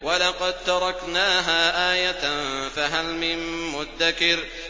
وَلَقَد تَّرَكْنَاهَا آيَةً فَهَلْ مِن مُّدَّكِرٍ